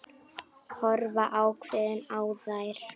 Horfa ákveðin á þær.